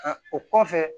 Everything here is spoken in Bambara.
o kɔfɛ